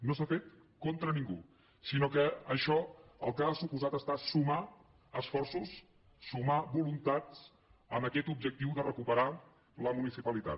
no s’ha fet contra ningú sinó que això el que ha suposat ha estat sumar esforços sumar voluntats amb aquest objectiu de recuperar la municipalitat